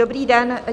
Dobrý den.